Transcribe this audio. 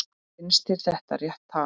Finnst þér það rétt tala?